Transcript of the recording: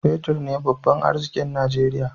Fetir ne babban arzikin Najeriya.